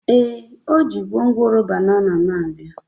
Ee, o ji gwongworo banana na-abịa